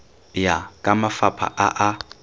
ya ka mafapha a a